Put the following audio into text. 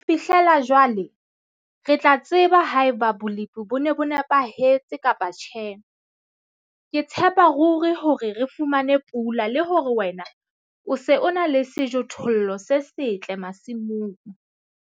Ho fihlela jwale, re tla tseba haeba bolepi bo ne bo nepahetse kapa tjhe. Ke tshepa ruri hore re fumane pula le hore wena o se o na le sejothollo se setle masimong.